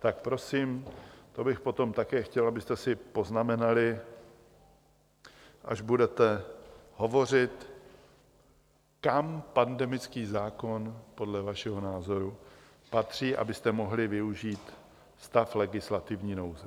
Tak prosím, to bych potom také chtěl, abyste si poznamenali, až budete hovořit, kam pandemický zákon podle vašeho názoru patří, abyste mohli využít stav legislativní nouze.